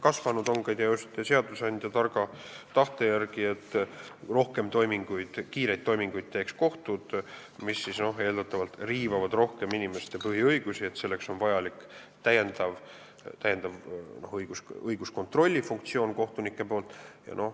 Kasvanud on see just seadusandja targa tahte tõttu, et kohtud teeksid rohkem kiireid toiminguid ja kui need eeldatavalt riivavad rohkem inimeste põhiõigusi, siis on vaja, et kohtunikel oleks täiendav õiguskontrolli funktsioon.